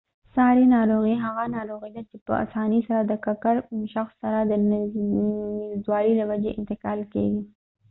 ساري ناروغي هغه ناروغي ده چې په آسانۍ سره د ککړ شخص سره د نږدیوالي له وجې انتقال کیږي